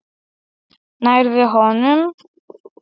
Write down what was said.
Nærðu honum?